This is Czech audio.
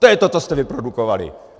To je to, co jste vyprodukovali.